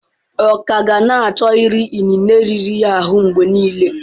Ọ ka gana achọ iri inine riri ya ahụ mgbe nile?